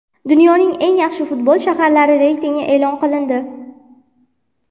Dunyoning eng yaxshi futbol shaharlari reytingi e’lon qilindi.